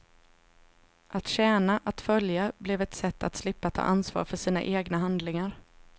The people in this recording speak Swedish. Att tjäna, att följa, blev ett sätt att slippa ta ansvar för sina egna handlingar.